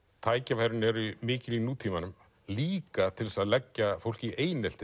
tækifærin eru mikil í nútímanum líka til þess að leggja fólk í einelti